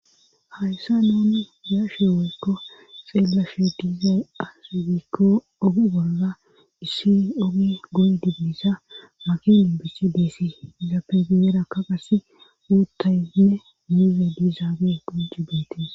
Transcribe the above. hayssa nuni yashoy woykko xeela she diizay asgikko ogi bolla issi ogi goydi diissa magi libisi disi zappegiyerakka qasse uuttaynne muuze diizaage qujji beetis